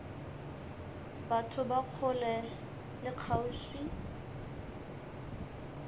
batho ba kgole le kgauswi